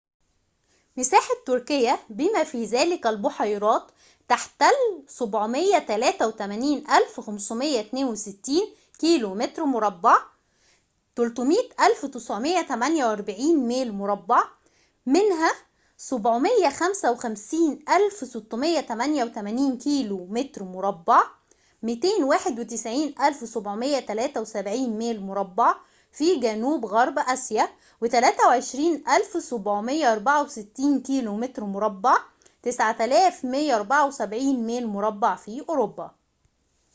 مساحة تركيا، بما في ذلك البحيرات، تحتل 783،562 كيلومتر مربع 300،948 ميل مربع ، منها 755688 كيلومتر مربع 291،773 ميل مربع في جنوب غرب آسيا و 23،764 كيلومتر مربع 9174 ميل مربع في أوروبا